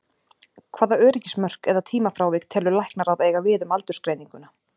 Hvaða öryggismörk eða tímafrávik telur Læknaráð eiga við um aldursgreininguna?